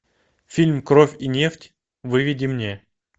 фильм кровь и нефть выведи мне